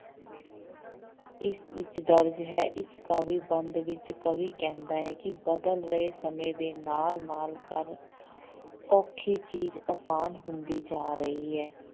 ਇਸ ਵਿੱਚ ਦਰਜ਼ ਹੈ, ਇਸ ਕਾਵਿ ਬੰਧ ਵਿੱਚ ਕਵੀ ਕਹਿੰਦਾ ਹੈ ਕਿ ਬਦਲ ਰਹੇ ਸਮੇਂ ਦੇ ਨਾਲ ਨਾਲ ਕਰ ਔਖੀ ਚੀਜ਼ ਆਸਾਨ ਹੁੰਦੀ ਜਾ ਰਹੀ ਹੈ।